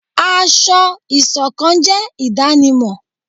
Asọ̀-ìsokán jé idanimọ